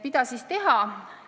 Mida siis teha?